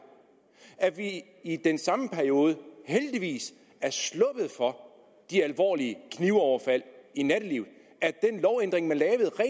at vi i den samme periode heldigvis er sluppet for de alvorlige knivoverfald i nattelivet at den lovændring man